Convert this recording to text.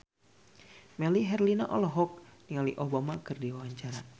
Melly Herlina olohok ningali Obama keur diwawancara